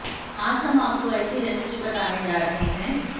आज हम आपको ऐसी रेसिपी बताने जा रहे हैं